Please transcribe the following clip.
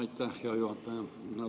Aitäh, hea juhataja!